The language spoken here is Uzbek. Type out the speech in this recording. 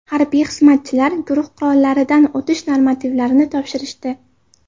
Harbiy xizmatchilar guruh qurollaridan otish normativlarini topshirishdi.